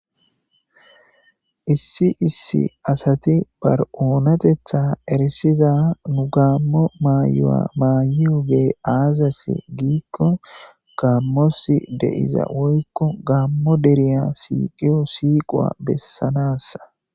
Issi issi asati ba oonatetha erisiza Gamo mayuwa maayiyogey aazase giikon gamos de'iya woyko Gamo deeriya siiqiyo siiquwa bessanasa.